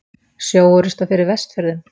Sjóorrusta fyrir Vestfjörðum?